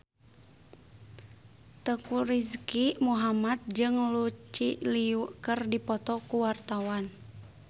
Teuku Rizky Muhammad jeung Lucy Liu keur dipoto ku wartawan